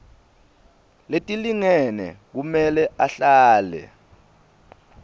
letilingene kumele ahlale